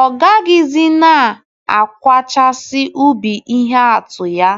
Ọ gaghịzi na - akwachasị ubi ihe atụ ya